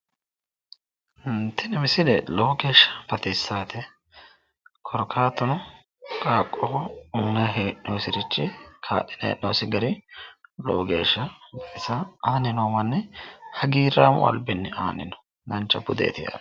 ii yini misile lowo geeshsha baxissaate korkaatuno qaaqqoho uyiinanni hee'noonnisirichi kaa'linanni hee'noonnirichi lowo geeshsha baxisa aanni noo maanni hagiirraamu albinni aanni no dancha budeeti.